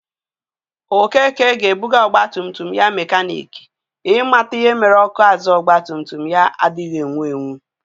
Okeke ga-abuga ogbagumtum ya mekanik i mata ihe mere ọkụ azụ ọgbatumtum ya adighi ewu ,ewu